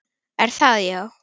Er það já?